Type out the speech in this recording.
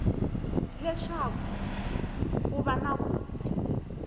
leswaku ko va na ku